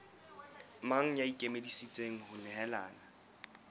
mang ya ikemiseditseng ho nehelana